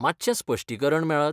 मातशें स्पश्टीकरण मेळत?